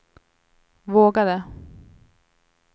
vågade